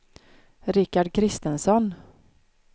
Rikard Kristensson